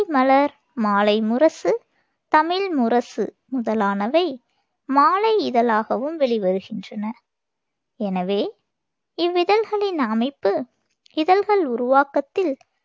மலர், மாலைமுரசு, தமிழ் முரசு முதலானவை மாலை இதழாகவும் வெளிவருகின்றன. எனவே, இவ்விதழ்களின் அமைப்பு இதழ்கள் உருவாக்கத்தில்